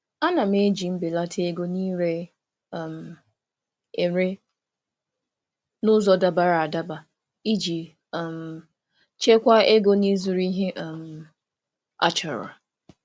M na-eji ego mbelata na ire ere n'ụzọ dabara adaba iji chekwaa ego na ihe ndị dị mkpa.